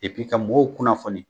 Epi ka mɔw kunnafoni